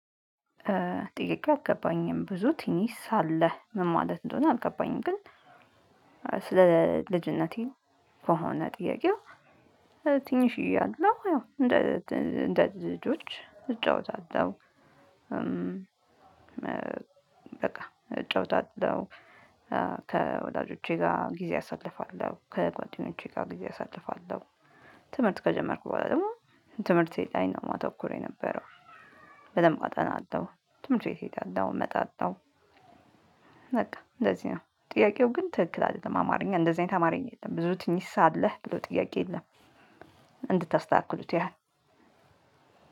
ጥያቄው አልገባኝም ብዙ ቲኒስ ሳለህ ምን ማለት እንደሆነ አልገባኝም። ግን ስለ ልጅነቴ ከሆነ ጥያቄው ትንሽዬ አለው። ያው እንደ ልጆች እጫወታለሁ። በቃ እጫወታለሁ ከወላጆቼ ጋር ጊዜ አሳልፋለሁ ከጓደኞቼ ጋር ጊዜ አሳልፋለሁ። ትምህርት ከጀመርኩ በኋላ ደግሞ ትምህርቴ ላይ ነው ማተኩር የነበረው። በደንብ አጠናለሁ ትምህርት ቤት እሄዳለሁ እመጣለሁ። በቃ እንደዚህ ነው። ጥያቄው ግን ትክክል አይደለም አማርኛ እንደዚህ አይነት አማርኛ የለም። ብዙ ትንሽ ሳለህ ብሎ ጥያቄ የለም። እንድታስተካክሉት ያህል